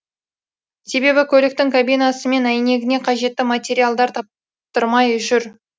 себебі көліктің кабинасы мен әйнегіне қажетті материалдар таптырмай жүр